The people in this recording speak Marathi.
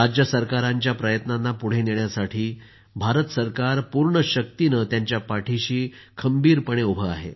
राज्यसरकारांच्या प्रयत्नांना पुढे नेण्यासाठी भारत सरकार पूर्ण शक्तिनं त्यांच्या पाठिशी खंबीरपणे उभं आहे